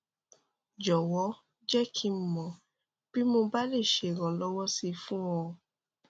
jọwọ jẹ kí n mọ bí mo bá lè ṣe ìrànlọwọ sí i fún ọ